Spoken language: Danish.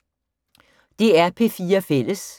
DR P4 Fælles